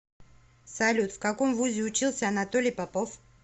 салют в каком вузе учился анатолий попов